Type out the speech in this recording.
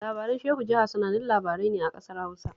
Labaran Shehu Jaha sanannun labarai ne a ƙasar Hausa